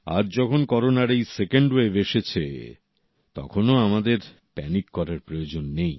আজ যখন করোনার এই সেকেন্ড ওয়েভ এসেছে তখনও আমাদের প্যানিক হওয়ার প্রয়োজন নেই